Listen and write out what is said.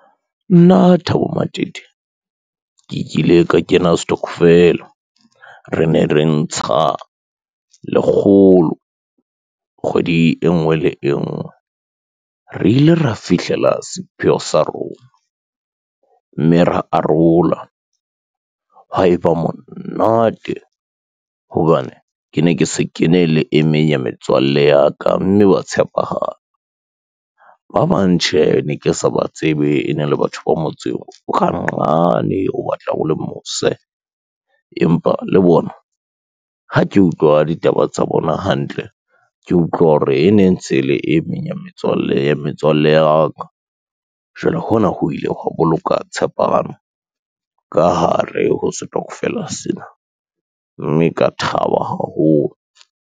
Nna Thabo Matete, ke kile ka kena stockvel-a re ne re ntsha lekgolo kgwedi e ngwe le e ngwe. Re ile ra fihlela sepheo sa rona, mme ra arola haeba monate hobane ke ne ke se kene le emeng ya metswalle ya ka mme ba tshepahala. Ba bang tjhe ne ke sa ba tsebe e ne le batho ba motseng o ka nqane o batla o le mose, empa le bona ha ke utlwa ditaba tsa bona hantle, ke utlwa hore e neng tse le e meng ya metswalle ya metswalle ya ka jwale hona ho ile hwa boloka tshepano ka hare ho stockvel-a sena, mme ka thaba haholo.